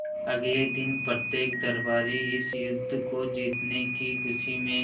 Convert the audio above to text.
अगले दिन प्रत्येक दरबारी इस युद्ध को जीतने की खुशी में